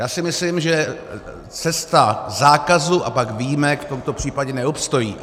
Já si myslím, že cesta zákazu a pak výjimek v tomto případě neobstojí.